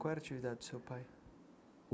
Qual era a atividade do seu pai?